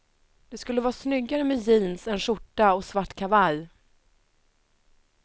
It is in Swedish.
Det skulle vara snyggare med jeans, en skjorta och svart kavaj.